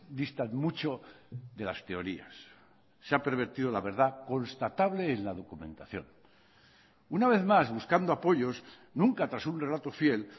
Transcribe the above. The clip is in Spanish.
distan mucho de las teorías se ha pervertido la verdad constatable en la documentación una vez más buscando apoyos nunca tras un relato fiel